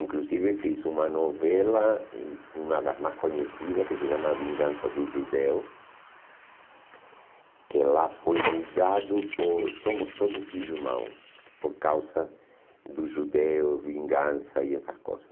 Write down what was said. Inclusive fiz uma novela, hum uma das mais conhecidas, que se chama Vingança do Judeu, que lá foi mudado por Somos Todos Irmãos, por causa do judeu, vingança e essas coisas.